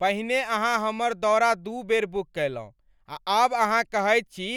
पहिने अहाँ हमर दौरा दू बेर बुक कयलहुँ आ आब अहाँ कहैत छी